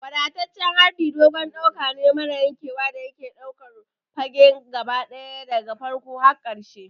Wadataccen harbi dogon ɗauka ne mara yankewa da yake ɗaukar fage gaba ɗaya daga farkon har ƙarshe.